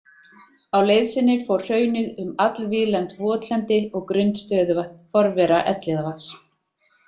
Á leið sinni fór hraunið um allvíðlent votlendi og grunnt stöðuvatn, forvera Elliðavatns.